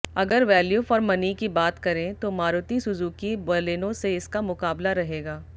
अगर value for money की बात करें तो मारुति सुजुकी बालेनो से इसका मुकाबला रहेगा